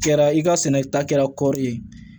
Kɛra i ka sɛnɛ ta kɛra kɔri ye